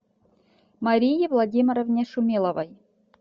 марии владимировне шумиловой